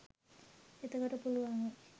එතකොට පුළුවන් වේ